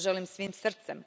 To želim svim srcem.